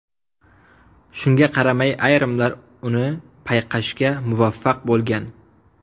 Shunga qaramay ayrimlar uni payqashga muvaffaq bo‘lgan.